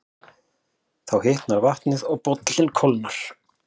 Þá hitnar vatnið og bollinn kólnar.